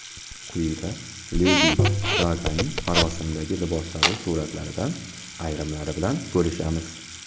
Quyida Ledi Gaganing marosimdagi liboslari suratlaridan ayrimlari bilan bo‘lishamiz.